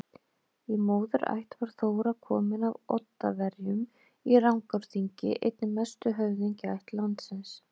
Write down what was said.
Í móðurætt var Þóra komin af Oddaverjum í Rangárþingi, einni mestu höfðingjaætt landsins.